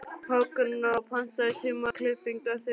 Högna, pantaðu tíma í klippingu á þriðjudaginn.